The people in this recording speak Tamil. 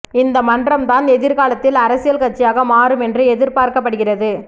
இந்த மன்றம் தான் எதிர்காலத்தில் அரசியல் கட்சியாக மாறும் என்று எதிர்பார்க்கப்படுகிறது